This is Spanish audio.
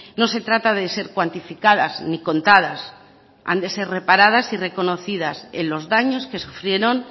no se trata de ser cuantificadas ni contadas han de ser reparadas y reconocidas en los daños que sufrieron